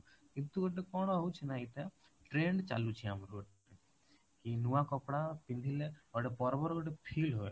କିନ୍ତୁ ଗୋଟେ କଣ ହଉଛି ନା ଏଇଟା trend ଚାଲୁଚି ଆମର ଗୋଟେ କି ନୂଆ କପଡା ପିନ୍ଧିଲେ ଗୋଟେ ପର୍ବର ଗୋଟେ feel ହୁଏ